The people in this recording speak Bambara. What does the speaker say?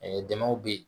Ɛɛ dɛmɛw bɛ ye